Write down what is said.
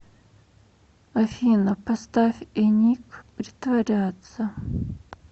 афина поставь эник притворяться